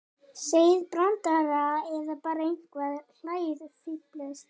Segið brandara eða bara eitthvað, hlæið, fíflist.